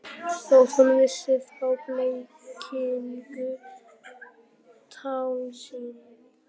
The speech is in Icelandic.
Þótt hún vissi þá blekkingu, tálsýn.